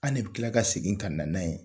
An de bɛ tila ka segin ka na n'a ye